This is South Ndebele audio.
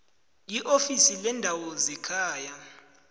iofisi leendaba zekhaya